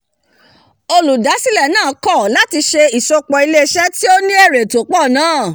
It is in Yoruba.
olùdásílẹ̀ náà kọ̀ láti se ìsopọ̀ ilé isẹ́ tí ó ní èrè tó pọ̀ náà